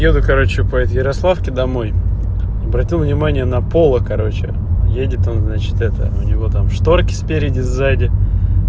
еду короче по эти ярославке домой обратил внимание на поло короче едет он значит это у него там шторки спереди сзади